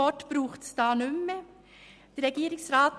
Es braucht daher nicht mehr viele Worte.